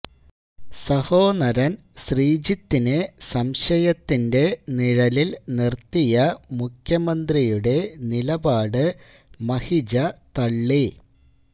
സഹോനരന് ശ്രീജിത്തിനെ സംശയത്തിന്റെ നിഴലില് നിര്ത്തിയ മുഖ്യമന്ത്രിയുടെ നിലപാട് മഹിജ തള്ളി